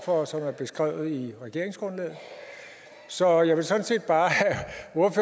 for og som er beskrevet i regeringsgrundlaget så jeg vil sådan set bare